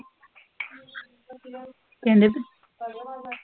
ਕਹਿੰਦੇ ਤੂੰ